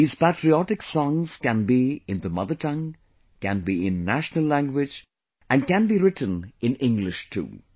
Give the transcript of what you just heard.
These patriotic songs can be in the mother tongue, can be in national language, and can be written in English too